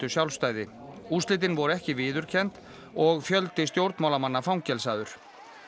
sjálfstæði úrslitin voru ekki viðurkennd og fjöldi stjórnmálamanna fangelsaður